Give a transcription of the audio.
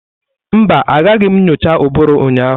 Mba, Agaghị m nyocha ụbụrụ ụnyaahụ.